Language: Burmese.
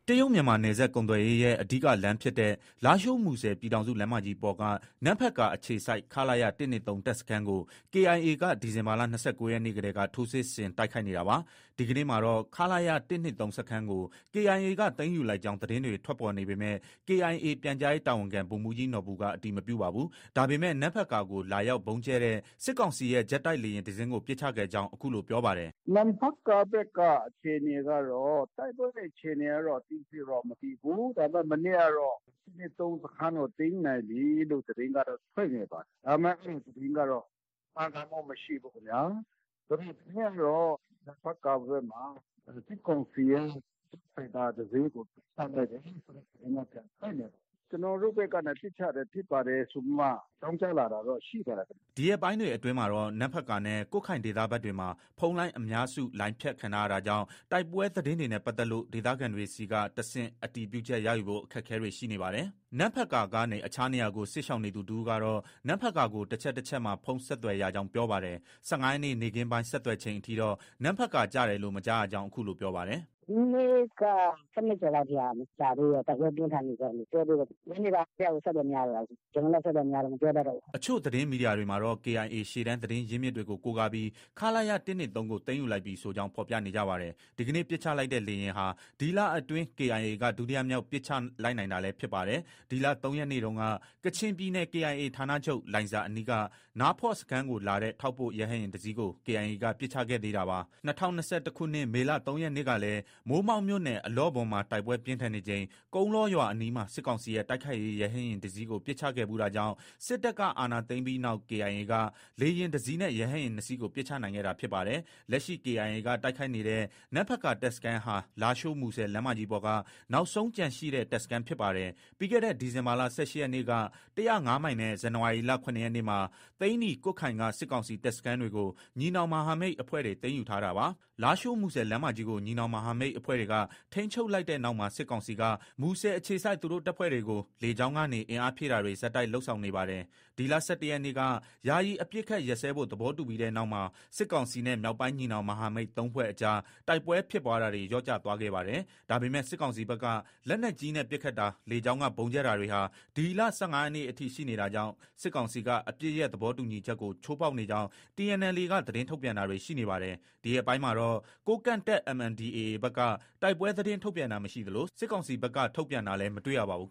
တရုတ်-မြန်မာနယ်စပ်ကုန်သွယ်ရေးရဲ့ အဓိက လမ်းဖြစ်တဲ့ လားရှိုး- မူဆယ်ပြည်ထောင်စုလမ်းမကြီးပေါ်က နမ့်ဖတ်ကာအခြေစိုက် ခလရ ၁၂၃ တပ်စခန်းကို KIA က ဒီဇင်ဘာလ ၂၉ရက်နေ့ကတည်းက ထိုးစစ်ဆင် တိုက်ခိုက်နေတာပါ။ ဒီကနေ့မှာတော့ ခလရ ၁၂၃ စခန်းကို KIA က သိမ်းယူလိုက်ကြောင်း သတင်းတွေ ထွက်ပေါ်နေပေမဲ့ KIA ပြန်ကြားရေးတာဝန်ခံ ဗိုလ်မှုးကြီးနော်ဘူက အတည်မပြုပါဘူး။ ဒါပေမဲ့ နမ့်ဖတ်ကာကို လာရောက် ဗုံးကြဲတဲ့ စစ်ကောင်စီရဲ့ ဂျက်တိုက်လေယာဉ်တစင်းကို ပစ်ချခဲ့ကြောင်း အခုလို ပြောပါတယ်။ “နမ့်ဖတ်ကာဘက်က အခြေအနေကတော့ တိုက်ပွဲတွေ အခြေအနေကတော့ အသေးစိတ် မသိသေးဘူး။ ဒါပေမဲ့ မနေ့ကတော့ ၁၂၃ စခန်းကို သိမ်းနိုင်ပြီဆိုပြီးတော့ သတင်းကတော့ ထွက်နေပါတယ်။ ဒါပေမဲ့ အဲဒီသတင်းကတော့ မှန်ကန်မှုမရှိဘူးခင်ဗျာ။ ဒီကနေ့ကတော့ နမ့်ဖတ်ကာဘက်မှာ စစ်ကောင်စီရဲ့ ဂျက်ဖိုက်တာ တစင်းကို ပစ်ချလိုက်တယ်ဆိုတဲ့ သတင်းက ပြန်ထွက်နေပါတယ်။ ကျနော်တို့ဘက်က ပစ်ချလိုက်တာဖြစ်ပါတယ်ဆိုပြီးမှ အကြောင်းကြားလာတာတော့ရှိပါတယ်။” ဒီရက်ပိုင်းတွေအတွင်းမှာတော့ နမ့်ဖတ်ကာနဲ့ ကွတ်ခိုင်ဒေသဘက်တွေမှာ ဖုန်းလိုင်းအများစု လိုင်းဖြတ်ခံထားရတာကြောင့် တိုက်ပွဲသတင်းတွေနဲ့ပတ်သက်လို့ ဒေသခံတွေဆီက တဆင့် အတည်ပြုချက် ရယူဖို့ အခက်အခဲတွေ ရှိနေပါတယ်။ နမ့်ဖတ်ကာကနေ အခြားနေရာကို စစ်ရှောင်နေသူတဦးကတော့ နမ့်ဖတ်ကာကို တချက် တချက်မှာ ဖုန်း ဆက်သွယ်ရကြောင်း ပြောပါတယ်။ ၁၅ရက်နေ့ နေ့ခင်းပိုင်း ဆက်သွယ်ချိန်အထိတော့ နမ့်ဖတ်ကာ ကျတယ်လို့ မကြားရကြောင်း အခုလို ပြောပါတယ်။ “ မနေ့က ၁၂ကျော်လောက်ထိ မကျသေးဘူး။ တိုက်ပွဲပြင်းထန်နေဆဲလို့ ပြောသေးတယ်။ ညနေပိုင်းတည်းကကို အဆက်အသွယ်မရတော့တာ ။ ကျနော်လည်း အဆက်အသွယ်မရတော့ မပြောတတ်တော့ဘူး။” အချို့ သတင်းမီဒီယာတွေမှာတော့ KIA ရှေ့တန်းသတင်းရင်းမြစ်တွေကို ကိုးကားပြီး ခလရ ၁၂၃ ကို သိမ်းယူလိုက်ပြီဆိုကြောင်း ဖော်ပြနေကြပါတယ်။ ဒီကနေ့ ပစ်ချလိုက်တဲ့ လေယာဉ်ဟာ ဒီလအတွင်း KIA က ဒုတိယမြောက်ပစ်ချနိုင်လိုက်တာလည်း ဖြစ်ပါတယ်။ ဒီလ ၃ ရက်နေ့တုန်းက ကချင်ပြည်နယ် KIA ဌာနချုပ် လိုင်ဇာအနီးက နားဖော့ စခန်းကိုလာတဲ့ ထောက်ပို့ရဟတ်ယာဉ်တစီးကို KIA က ပစ်ချခဲ့သေးတာပါ။ ၂၀၂၁ခုနှစ်က မေလ ၃ရက်နေ့ကလည်း မိုးမောက်မြို့နယ် အလော့ဘွမ်မှာ တိုက်ပွဲပြင်းထန်နေချိန် ကုန်းလောရွာအနီးမှာ စစ်ကောင်စီရဲ့တိုက်ခိုက်ရေး ရဟတ်ယာဉ်တစီးကို ပစ်ချခဲ့ဖူးတာကြောင့် စစ်တပ်က အာဏာသိမ်းပြီးနောက် KIA က လေယာဉ်တစီးနဲ့ ရဟတ်ယာဉ် ၂စီး ပစ်ချနိုင်ခဲ့တာဖြစ်ပါတယ်။ လက်ရှိ KIA က တိုက်ခိုက်နေတဲ့ နမ့်ဖတ်ကာတပ်စခန်းဟာ လားရှိုး- မူဆယ် လမ်းမကြီးပေါ်က နောက်ဆုံးကျန်ရှိတဲ့ တပ်စခန်းဖြစ်ပါတယ်။ ပြီးခဲ့တဲ့ ဒီဇင်ဘာလ ၁၈ရက်နေ့က ၁၀၅မိုင်နဲ့ ဇန်နဝါရီလ ၇ရက်နေ့မှာ သိန္နီ၊ ကွတ်ခိုင်က စစ်ကောင်စီတပ်စခန်းတွေကို ညီနောင်မဟာမိတ်အဖွဲ့တွေ သိမ်းယူထားတာပါ။ လားရှိုး- မူဆယ်လမ်းမကြီးကို ညီနောင်မဟာမိတ်အဖွဲ့တွေက ထိန်းချုပ်လိုက်တဲ့နောက်မှာ စစ်ကောင်စီက မူဆယ်အခြေစိုက် သူတို့ တပ်ဖွဲ့တွေကို လေကြောင်းကနေ အင်အားဖြည့်တင်းတာတွေ ဆက်တိုက်လုပ် ဆောင်နေပါတယ်။ ဒီလ ၁၁ရက်နေ့က ယာယီအပစ်အခတ် ရပ်စဲဖို့ သဘောတူပြီးတဲ့နောက်မှာ စစ်ကောင်စီနဲ့ မြောက်ပိုင်းညီနောင် မဟာမိတ် ၃ဖွဲ့အကြား တိုက်ပွဲဖြစ်ပွားတာတွေ လျော့ကျသွားခဲ့ပါတယ်။ ဒါပေမဲ့ စစ်ကောင်စီဘက်က လက်နက်ကြီးနဲ့ ပစ်ခတ်တာ၊ လေကြောင်းက ဗုံးကြဲတာတွေဟာ ဒီလ ၁၅ရက်နေ့အထိ ရှိနေတာကြောင့် စစ်ကောင်စီက အပစ်ရပ်သဘောတူညီချက်ကို ချိုးဖောက်နေကြောင်း TNLA က သတင်းထုတ်ပြန်တာတွေ ရှိနေပါတယ်။ ဒီရက်ပိုင်းမှာတော့ ကိုးကန့်တပ် MNDAA ဘက်က တိုက်ပွဲ သတင်း ထုတ်ပြန်တာ မရှိသလို စစ်ကောင်စီဘက်ကလည်း ထုတ်ပြန်တာလည်း မတွေ့ရပါဘူး